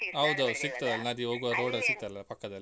ಹೌದೌದು ಸಿಗ್ತದಲ್ಲ ನದಿ ಹೋಗ್ವಾಗ road ಅಲ್ಲಿ. ಸಿಗ್ತದಲ್ಲ ಪಕ್ಕದಲ್ಲಿ.